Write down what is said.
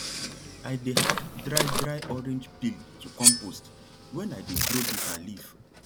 i dey add dry dry orange peel to compost when i dey grow bitter leaf